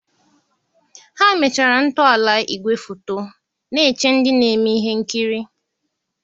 ha emechara ntọala igwefoto, na-eche ndị na-eme ihe nkiri.